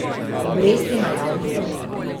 Obresti na javni dolg.